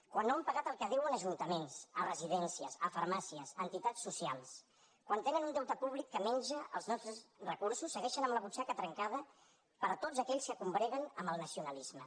quan no han pagat el que deuen a ajuntaments a residències a farmàcies a entitats socials quan tenen un deute públic que menja els nostres recursos segueixen amb la butxaca trencada per a tots aquells que combreguen amb el nacionalisme